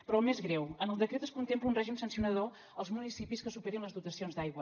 però el més greu en el decret es contempla un règim sancionador als municipis que superin les dotacions d’aigua